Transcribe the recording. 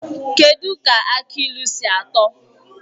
Kedụ ka aki ilu si atọ?